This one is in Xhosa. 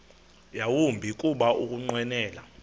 yawumbi kuba ukunqwenela